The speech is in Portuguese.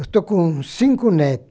Eu estou com cinco neto.